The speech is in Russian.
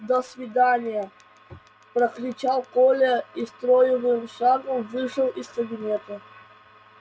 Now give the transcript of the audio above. до свидания прокричал коля и строевым шагом вышел из кабинета